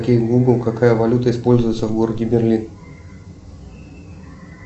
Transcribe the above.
окей гугл какая валюта используется в городе берлин